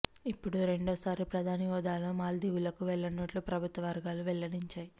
ఇప్పుడు రెండో సారి ప్రధాని హోదాలో మాల్దీవులకు వెళ్లనున్నట్లు ప్రభుత్వ వర్గాలు వెల్లడించాయి